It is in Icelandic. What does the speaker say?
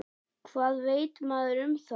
Hvað veit maður um það?